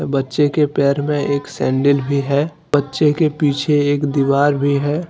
बच्चे के पैर में एक सैंडल भी है बच्चे के पीछे एक दीवार भी है।